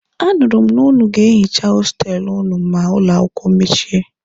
A nụrụ m na ụnụ ga-ehicha hostelụ ụnụ ma ụlọ akwụkwọ mechie.